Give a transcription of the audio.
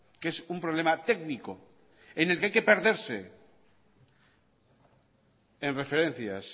que es un problema técnico en que hay que perderse en referencias